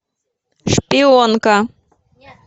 шпионка